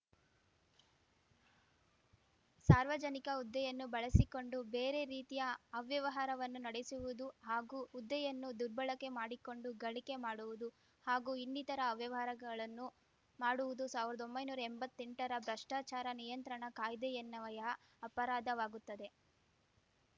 ಸಾರ್ವಜನಿಕ ಹುದ್ದೆಯನ್ನು ಬಳಸಿಕೊಂಡು ಬೇರೆ ರೀತಿಯ ಅವ್ಯವಹಾರವನ್ನು ನಡೆಸುವುದು ಹಾಗೂ ಹುದ್ದೆಯನ್ನು ದುರ್ಬಳಕೆ ಮಾಡಿಕೊಂಡು ಗಳಿಕೆ ಮಾಡುವುದು ಹಾಗೂ ಇನ್ನಿತರ ಅವ್ಯವಹಾರಗಳನ್ನು ಮಾಡುವುದು ಸಾವ್ರ್ದೊಂಬೈ ನೂರಾ ಎಂಬತ್ತೆಂಟರ ಭ್ರಷ್ಟಾಚಾರ ನಿಯಂತ್ರಣ ಕಾಯ್ದೆಯನ್ವಯ ಅಪರಾಧವಾಗುತ್ತದೆ